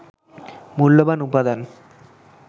মূল্যবান উপাদান